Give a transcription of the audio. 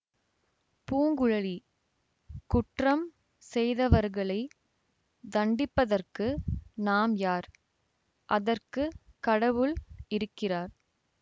பூங்குழலி குற்றம் செய்தவர்களை தண்டிப்பதற்கு நாம் யார் அதற்கு கடவுள் இருக்கிறார்